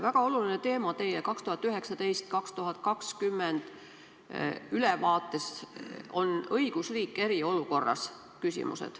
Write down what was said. Väga oluline teema teie 2019.–2020. aasta ülevaates on "Õigusriik eriolukorras".